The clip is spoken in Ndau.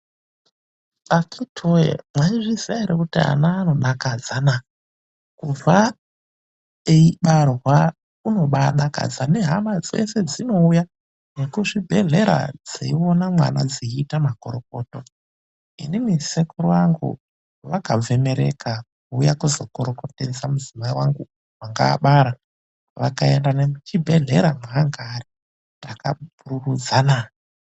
Akiti woye, mwayizviziva ere kuti ana anodakadzana. Kubva eyibarwa unobaa dakadza nehama dzese dzinouya nekuzvibhedhlera dziyiona mwana dzeyiita makorokoto. Inini sekuru vangu vakabve Mereka kuuya kuzokorokotedza mudzimai wangu wanga abara. Vakaenda nemuchibhedhlera mwaanga ari takapururudza naa.